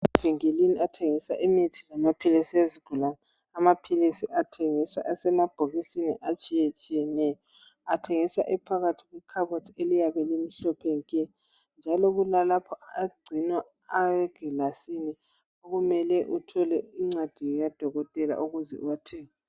Emavinkilini athengiswa imithi lamaphilisi ezigulani. Amaphilisi athengiswa asemabhokisini atshiyetshiyeneyo. Athengiswa ephakathi kwekhabothi eliyabe limhlophe nke njalo kulalapho agcinwa ayegilasini okumele uthole incwadi kadokotela ukuze uwathenge.